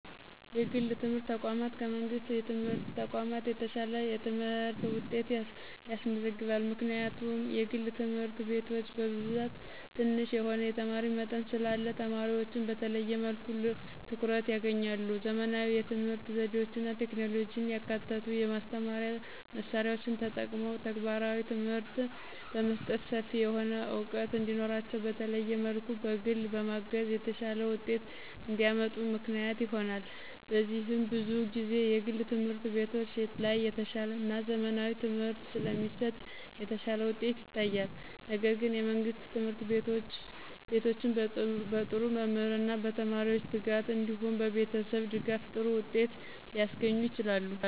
የግል የትምህርት ተቋማት ከመንግሥት የትምህርት ተቋማት የተሻለ የትምህርት ውጤት ያስመዘግባሉ። ምክንያቱም የግል ትምህርት ቤቶች በብዛት ትንሽ የሆነ የተማሪ መጠን ስላለ ተማሪዎችን በተለየ መልኩ ልዩ ትኩረት ያገኛሉ። _ ዘመናዊ የትምህርት ዘዴዎችና ቴክኖሎጂን ያካተቱ የማስተማሪያ መሳሪያዎችን ተጠቅሞ ተግባራዊ ትምህርት በመስጠት ሰፊ የሆነ ዕውቀት እንዲኖራቸውና በተለየ መልኩ በግል በማገዝ የተሻለ ውጤት እንዲያመጡ ምክንያት ይሆናል። በዚህም ብዙ ጊዜ የግል ትምህርት ቤቶች ላይ የተሻለና ዘመናዊ ትምህርት ስለሚሰጥ የተሻለ ውጤት ይታያል። ነገር ግን የመንግስት ትምህርት ቤቶችም በጥሩ መምህርና በተማሪዎች ትጋት እንዲሁም በቤተሰብ ድጋፍ ጥሩ ውጤት ሊያስገኙ ይችላሉ።